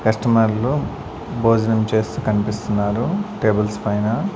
కస్టమర్లు భోజనం చేస్తూ కనిపిస్తున్నారు టేబుల్స్ పైన.